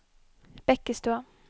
Bekkestua